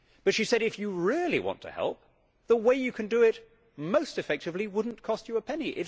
But she said If you really want to help, the way you can do it most effectively would not cost you a penny.